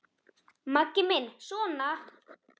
Maggi minn sona!